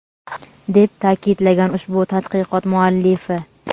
deb ta’kidlagan ushbu tadqiqot muallifi.